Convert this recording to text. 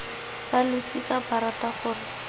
ba losika ba rata gore